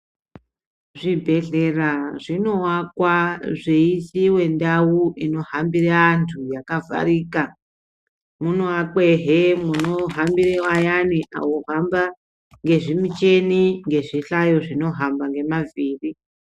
Zvibhehlera zvinowakwa zveisiiwe ndau inohambire antu yakavharika munovakwahe munohambira vayana vohamba ngezvimucheni nezvimuhlayo zvinohamba ngemavhiri.